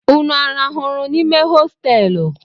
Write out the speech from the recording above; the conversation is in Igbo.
Nnu a rahụrụ n'ime hoteelu?